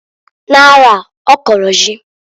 N'arọa, ọ kọlụ ji.